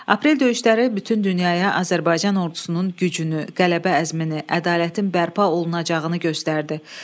Aprel döyüşləri bütün dünyaya Azərbaycan ordusunun gücünü, qələbə əzmini, ədalətin bərpa olunacağını göstərdi.